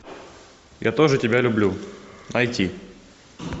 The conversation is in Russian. я тоже тебя люблю найти